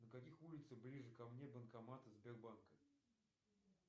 на каких улицах ближе ко мне банкоматы сбербанка